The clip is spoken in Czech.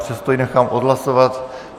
Přesto ji nechám odhlasovat.